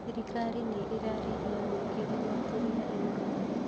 Thirikarĩ nĩ ĩrarĩhia mũingĩ igoti rĩa igũrũ mũno